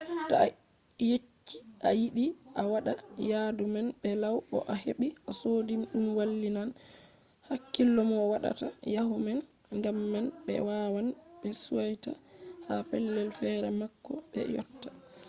to a yecci a yiɗi a waɗa yadu man be law bo a heɓi a sodi ɗum wallinan hakkilo mo waɗata yadu man gam man ɓe wawan ɓe suita ha pellel fere ma bako ɓe yotta